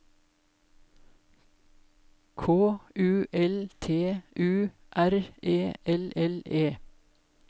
K U L T U R E L L E